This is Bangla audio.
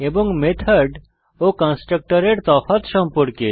এবং মেথড ও কনস্ট্রাক্টরের তফাৎ সম্পর্কে